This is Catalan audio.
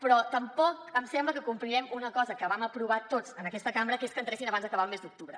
però tampoc em sembla que complirem una cosa que vam aprovar tots en aquesta cambra que és que entressin abans d’acabar el mes d’octubre